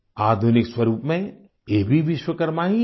आधुनिक स्वरूप में ये भी विश्वकर्मा ही हैं